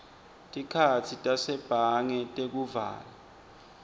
tikhatsi tasebhange tekuvala